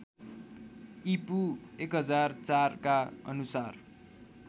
ईपू १००४ का अनुसार